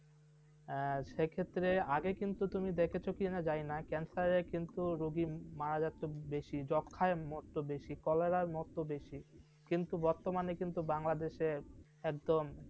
হ্যাঁ, সেক্ষেত্রে আগে কিন্তু তুমি দেখেছো কি না জানি না। cancer রে কিন্তু রোগী মারা যাচ্ছে বেশি যক্ষ্মার মরতো বেশি cholera য় মরতো বেশি। কিন্তু বর্তমানে কিন্তু বাংলাদেশে একদম